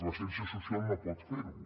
la ciència social no pot fer ho